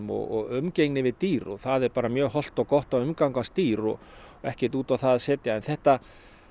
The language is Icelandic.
og umgengni við dýr það er bara mjög hollt og gott að umgangast dýr og ekkert út á það að setja en þetta